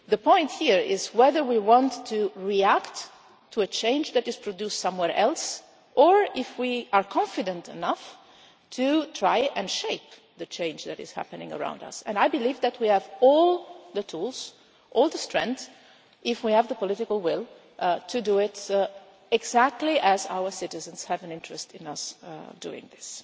The point here is whether we want to react to a change that is produced somewhere else, or if we are confident enough to try and shape the change that is happening around us, and I believe that we have all the tools, all the strength if we have the political will to do it exactly as our citizens have an interest in us doing this.